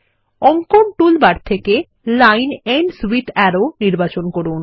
অঙ্কন টুলবার থেকে line ends with arrow নির্বাচন করুন